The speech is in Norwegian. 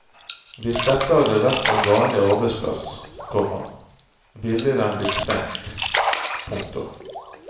Hvis dette hadde vært en vanlig arbeidsplass, komma ville den blitt stengt. punktum